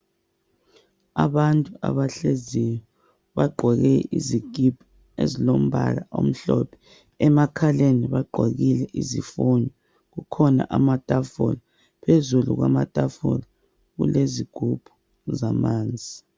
Abantu abahleziyo bagqoke izikipa ezilombala omhlophe, emakhaleni bagqokile izifonyo, kukhona amatafula phezulu kwamatafula kulezigubhu zamanzi.